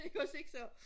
ikke også ikke så